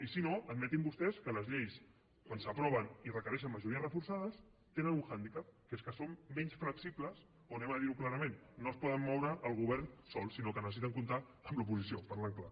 i si no admetin vostès que les lleis quan s’aproven i requereixen majories reforçades tenen un handicap que és que són menys flexibles o diguem ho clarament no es poden moure amb el govern sol sinó que necessiten comptar amb l’oposició parlant clar